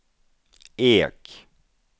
Ek